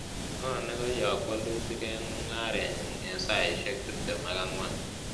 Ng' o nekoyok walutik eng' mung'arenyun eng' saaisiek tiptem ak ang'wan